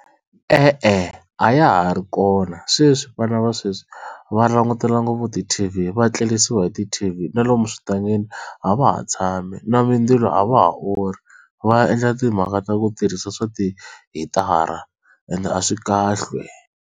E-e a ya ha ri kona sweswi vana va sweswi va langutela ngopfu ti-T_V va tlerisiwa hi ti-T_V na lomu eswitangeni a va ha tshami na mindzilo a va ha orhi va endla timhaka ta ku tirhisa swa ti hitara ende a swi kahle.